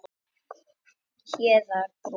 Hæðarbrún